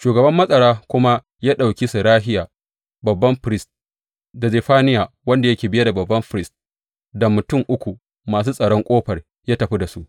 Shugaban matsara kuma ya ɗauki Serahiya babban firist, da Zefaniya wanda yake biye da babban firist, da mutum uku masu tsaron ƙofar, ya tafi da su.